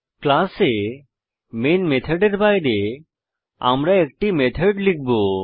ক্লাসে মেন মেথডের বাইরে আমরা একটি মেথড লিখব